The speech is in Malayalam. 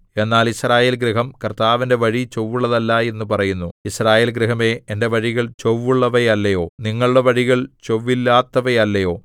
എന്നാൽ യിസ്രായേൽഗൃഹം കർത്താവിന്റെ വഴി ചൊവ്വുള്ളതല്ല എന്ന് പറയുന്നു യിസ്രായേൽ ഗൃഹമേ എന്റെ വഴികൾ ചൊവ്വുള്ളവയല്ലയോ നിങ്ങളുടെ വഴികൾ ചൊവ്വില്ലാത്തവയല്ലയോ